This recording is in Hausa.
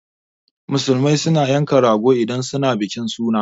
Musulmai suna yanka rago idan suna bikin suna